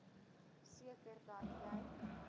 seker dat jy